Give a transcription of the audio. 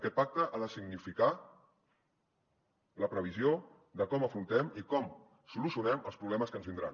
aquest pacte ha de significar la previsió de com afrontem i com solucionem els problemes que ens vindran